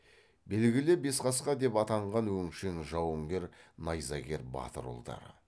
белгілі бесқасқа деп атанған өңшең жауынгер найзагер батыр ұлдары